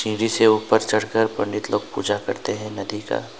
तेजी से ऊपर चढ़कर पंडित लोग पूजा करते हैं नदी का।